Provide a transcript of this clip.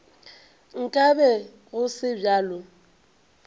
nka be go se bjalo